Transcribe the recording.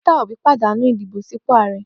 Peter Obí pàdánù ìdìbò sípò Ààrẹ.